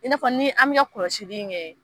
I n'a fɔ ni an bɛ ka kɔlɔsili kɛ.